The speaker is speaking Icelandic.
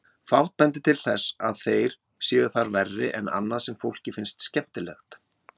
Fátt bendir til þess að þeir séu þar verri en annað sem fólki finnst skemmtilegt.